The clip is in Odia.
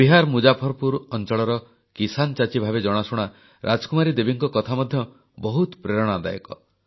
ବିହାର ମୁଜାଫରପୁର ଅଂଚଳର କିସାନ ଚାଚି ଭାବେ ଜଣାଶୁଣା ରାଜକୁମାରୀ ଦେବୀଙ୍କ କଥା ମଧ୍ୟ ବହୁତ ପ୍ରେରଣାଦାୟକ